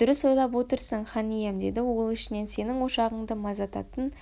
дұрыс ойлап отырсың хан ием деді ол ішінен сенің ошағыңды маздататын